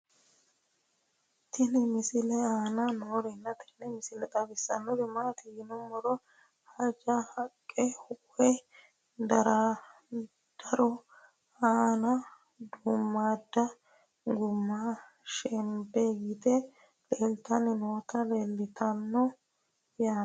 tenne misile aana noorina tini misile xawissannori maati yinummoro haanjja haqqa woy daro aanna duumaadda gumma shenbe yitte laalitte nootti leelittanno yaatte